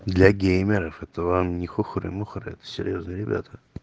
для геймеров это вам не хухры-мухры это серьёзные ребята